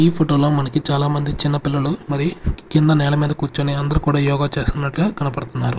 ఈ ఫోటోలో మనకి చాలా మంది చిన్న పిల్లలు మరి కింద నేల మీద కూర్చొని అందరూ కూడా యోగా చేస్తున్నట్లుగా కనపడుతున్నారు.